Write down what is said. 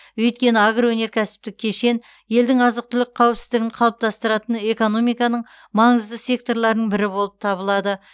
өйткені агроөнеркәсіптік кешен елдің азық түлік қауіпсіздігін қалыптастыратын экономиканың маңызды секторларының бірі болып табылады